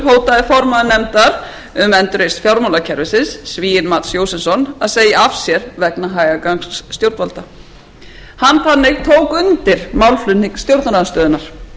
er slíkt að samkvæmt fréttum í morgun hótaði formaður nefndar um endurreisn fjármálakerfisins svíinn mats jósefsson að segja af sér vegna hægagangs stjórnvalda hann þannig tók undir málflutning stjórnarandstöðunnar þetta stefnuleysi í málefnum